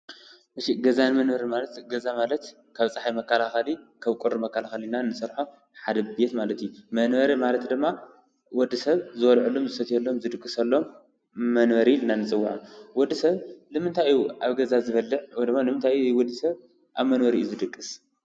ገዛን መንበርን ማለት ገዛ ማለት ካብ ፀሓይ መከላኸሊ፣ ካብ ቁሪ መከላኸሊ ኢልና ንሰርሖ ሓደ ድሌት ማለት እዩ፡፡ መንበሪ ማለት ድማ ወዲ ሰብ ዝበልዐሉን ዝሰትየሉን ዝድቕሰሉን መንበሪ ኢልና ንፅውዖ፡፡ ወዲ ሰብ ንምንታይ እዩ ኣብ ገዛ ዝበልዕ ወይ ድማ ወዲ ሰብ ኣብ መንበሪኡ ዝድቅስ?